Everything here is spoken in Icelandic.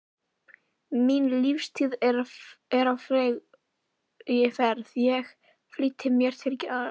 Mín lífstíð er á fleygiferð, ég flýti mér til grafar.